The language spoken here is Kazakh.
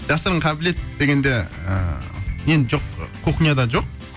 жасырын қабілет дегенде ыыы енді жоқ кухняда жоқ